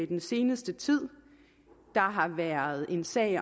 den seneste tid der har været en sag i